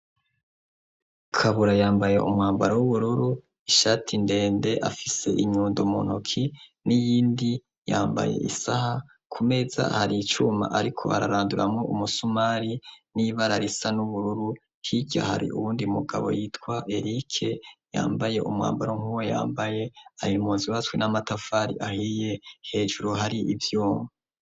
Kabura yambaye umwambaro w'ubururu, ishati ndende, afise inyundo mu ntoki n'iyindi yambaye isaha, ku meza hari icuma ariko araranduramwo umusumari n'ibara risa n'ubururu, hirya hari uwundi mugabo yitwa Erike, yambaye umwambaro nkuwo yambaye, hari inzu zubatswe n'amatafari ahiye, hejuru hari ivyuma.